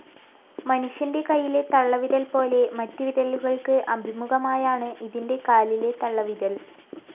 മനുഷ്യൻ്റെ കയ്യിലെ തള്ളവിരൽ പോലെ, മറ്റുവിരലുകൾക്ക് അഭിമുഖമായാണ് ഇതിൻ്റെ കാലിലെ തള്ളവിരൽ.